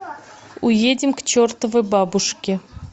уедем к чертовой бабушке